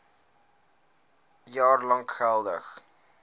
jaar lank geldig